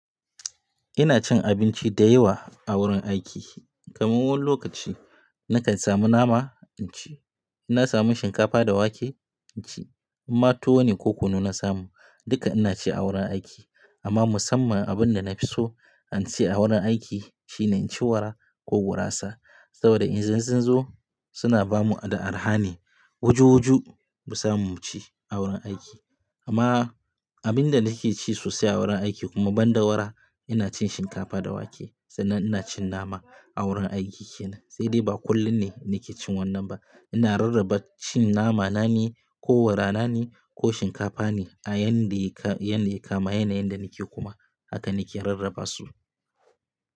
Ina cin abinci da yawa a wurin aiki. Kamin wani lokaci na kan samu nama inci, inna samu shinkafa da wake inci. In ma tuwo ne ko kunu na samu duka ina ci a wurin aiki. Amma musamman abin da na fi so in ci a wurin aiki shine in ci wara ko gurasa saboda in sun zo suna bamu da arha ne. Wuju-wuju mu samu mu ci a wurin aiki. Amma abin da nake ci sosai a wurin aiki kuma ban da wara ina cin shinkafa da wake sannan ina cin nama a wurin aiki kenan. Sai dai ba kullum ne nake cin wannan ba. Ina rarraba cin nama, na ne ko wara, na ne ko shinkafa ne a yayin da ya kama yanayin da nake kuma haka nake rarraba su.